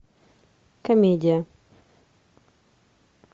комедия